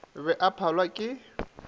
be a sa phalwe ke